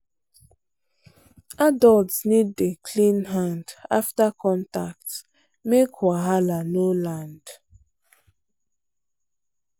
adults need dey clean hand after contact make wahala no land.